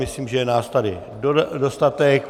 Myslím, že je nás tady dostatek.